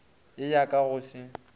ye ya ka go se